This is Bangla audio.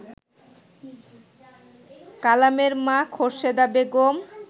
কালামের মা খোর্শেদা বেগম